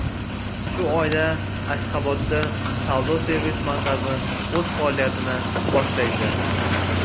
Shu oyda Ashxobodda Savdo-servis markazi o‘z faoliyatini boshlaydi.